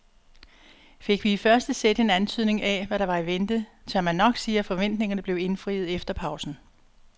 Fik vi i første sæt en antydning af hvad der var i vente, tør man nok sige at forventningerne blev indfriet efter pausen.